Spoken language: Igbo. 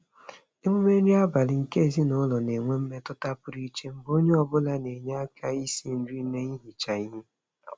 Emume nri abalị nke ezinụụlọ na-enwe mmetụta pụrụ iche mgbe onye ọbụla na-enye aka n'isi nri na ihicha ihe.